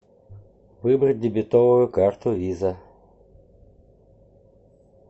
выбрать дебетовую карту виза